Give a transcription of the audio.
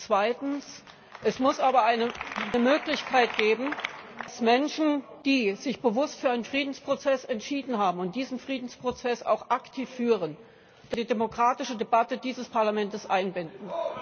Zweitens Es muss aber eine Möglichkeit geben, dass wir Menschen, die sich bewusst für einen Friedensprozess entschieden haben und diesen Friedensprozess auch aktiv führen, in die demokratische Debatte dieses Parlaments einbinden.